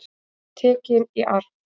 Tekin í arf.